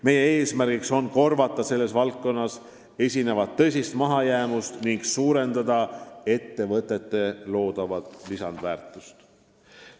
Meie eesmärk on korvata selles valdkonnas esinevat tõsist mahajäämust ning suurendada ettevõtete loodavat lisandväärtust.